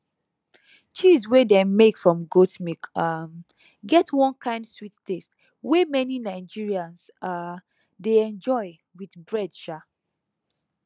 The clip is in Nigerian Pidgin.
cheese wey dem make from goat milk um get one kind sweet taste wey many nigerians um dey enjoy with bread um